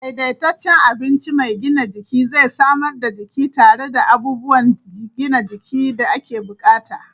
Daidaitaccen abinci mai gina jiki zai samar da jiki tare da abubuwan gina jiki da ake bukata.